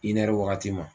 I nɛri wagati ma